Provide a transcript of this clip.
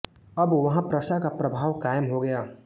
अब वहाँ प्रशा का प्रभाव कायम हो गया